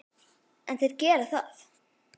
En þeir gera það.